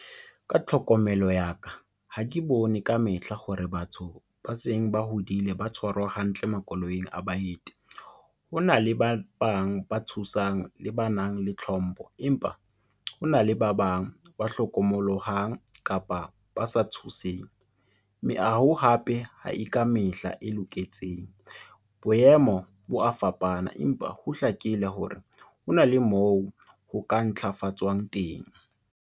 Ka tlhokomelo ya ka, ha ke bone ka mehla hore batho ba seng ba hodile ba tshwarwa hantle makoloing a baeti. Hona le ba bang ba thusang le ba nang le tlhompho, empa ho na le ba bang ba hlokomollohang kapa ba sa thuseng. hape ha e ka mehla e loketseng, boemo bo a fapana empa ho hlakile hore hona le moo ho ka ntlhafatswang teng.